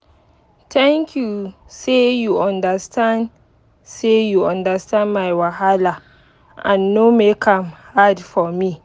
thank you say you understand say you understand my wahala and no make am hard for me.